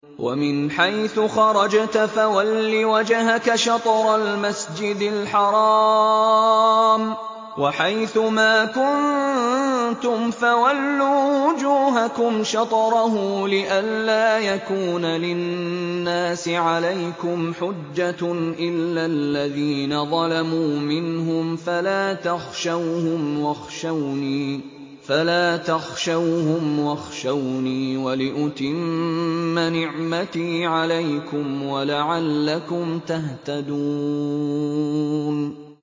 وَمِنْ حَيْثُ خَرَجْتَ فَوَلِّ وَجْهَكَ شَطْرَ الْمَسْجِدِ الْحَرَامِ ۚ وَحَيْثُ مَا كُنتُمْ فَوَلُّوا وُجُوهَكُمْ شَطْرَهُ لِئَلَّا يَكُونَ لِلنَّاسِ عَلَيْكُمْ حُجَّةٌ إِلَّا الَّذِينَ ظَلَمُوا مِنْهُمْ فَلَا تَخْشَوْهُمْ وَاخْشَوْنِي وَلِأُتِمَّ نِعْمَتِي عَلَيْكُمْ وَلَعَلَّكُمْ تَهْتَدُونَ